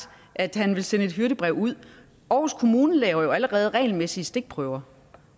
at han vil sende et hyrdebrev ud aarhus kommune laver jo allerede regelmæssige stikprøver